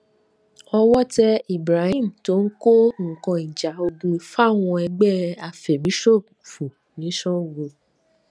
owó tẹ ibrahim tó ń kó nǹkan ìjà ogun fáwọn ẹgbẹ àfẹmíṣòfò ní sango